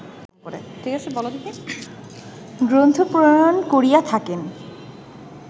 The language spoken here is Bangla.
গ্রন্থ প্রণয়ন করিয়া থাকেন